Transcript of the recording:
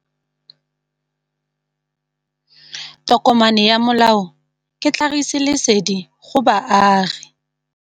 Tokomane ya molao ke tlhagisi lesedi go baagi.